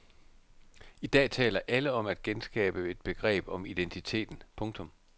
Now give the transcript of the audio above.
I dag taler alle om at genskabe et begreb om identiteten. punktum